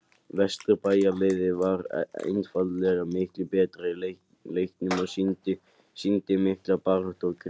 Vesturbæjarliðið var einfaldlega miklu betra í leiknum og sýndi mikla baráttu og grimmd.